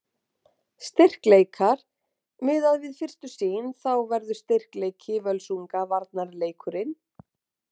Styrkleikar: Miðað við fyrstu sýn þá verður styrkleiki Völsunga varnarleikurinn.